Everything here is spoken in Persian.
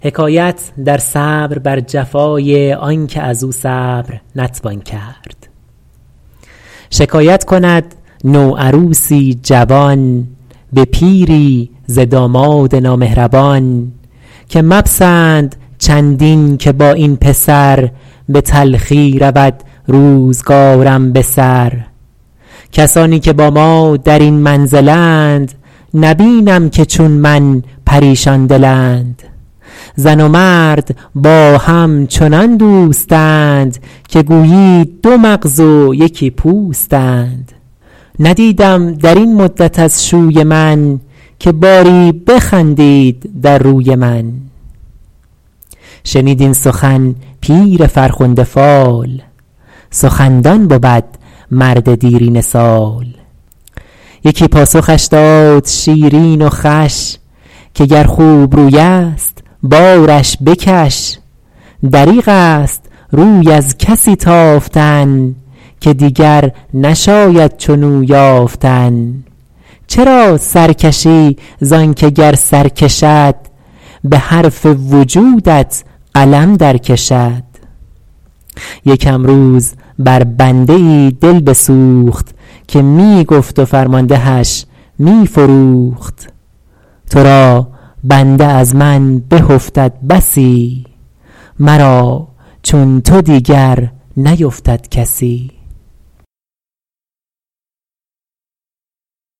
شکایت کند نوعروسی جوان به پیری ز داماد نامهربان که مپسند چندین که با این پسر به تلخی رود روزگارم به سر کسانی که با ما در این منزلند نبینم که چون من پریشان دلند زن و مرد با هم چنان دوستند که گویی دو مغز و یکی پوستند ندیدم در این مدت از شوی من که باری بخندید در روی من شنید این سخن پیر فرخنده فال سخندان بود مرد دیرینه سال یکی پاسخش داد شیرین و خوش که گر خوبروی است بارش بکش دریغ است روی از کسی تافتن که دیگر نشاید چنو یافتن چرا سر کشی زان که گر سر کشد به حرف وجودت قلم در کشد یکم روز بر بنده ای دل بسوخت که می گفت و فرماندهش می فروخت تو را بنده از من به افتد بسی مرا چون تو دیگر نیفتد کسی